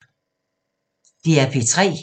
DR P3